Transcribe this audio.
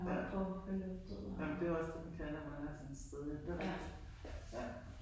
Ja ej men det er jo også det man kan når man er sådan et sted jo det rigtigt ja